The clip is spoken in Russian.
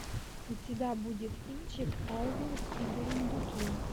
у тебя будет кинчик элвин и бурундуки